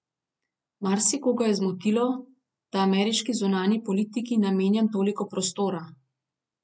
Marsikoga je zmotilo, da ameriški zunanji politiki namenjam toliko prostora.